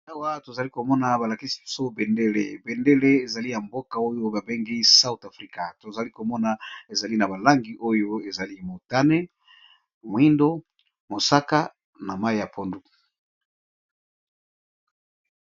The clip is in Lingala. Awa tozali komona balakisi so bendele bendele ezali ya mboka oyo babengi south afrika tozali komona ezali na balangi oyo ezali motane mwindo mosaka na mayi ya pondu.